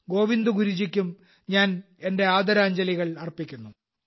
ഗോവിന്ദ് ഗുരുജിക്കും ഞാൻ എന്റെ ആദരാഞ്ജലികൾ അർപ്പിക്കുന്നു